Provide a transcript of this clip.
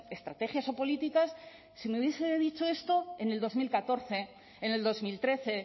estrategias o políticas si me hubiese dice dicho esto en el dos mil catorce en el dos mil trece